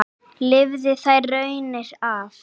Lifði þær raunir af.